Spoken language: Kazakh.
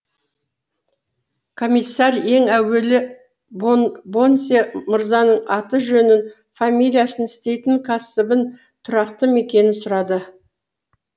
комиссар ең әуелі бонсье мырзаның аты жөнін фамилиясын істейтін кәсібін тұрақты мекенін сұрады